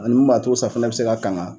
Ani b'a to safunɛ bɛ se ka kan.